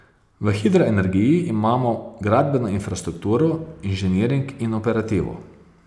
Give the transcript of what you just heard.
V hidroenergiji imamo gradbeno infrastrukturo, inženiring in operativo.